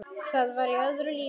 Það var í öðru lífi.